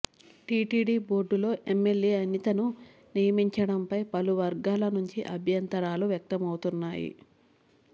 TTD బోర్డులో MLA అనితను నియమించడంపై పలు వర్గాల నుంచి అభ్యంతరాలు వ్యక్తమవుతున్నాయి